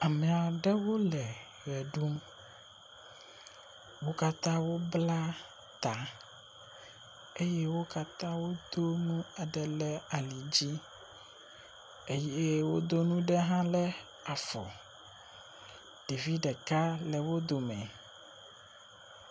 Ame aɖewo le ʋe ɖum. Wo katã wobla ta eye wo katã wodo nu aɖe ɖe ali dzi eye wodo nuɖe hã ɖe afɔ. Ɖevi ɖeka le wo dome.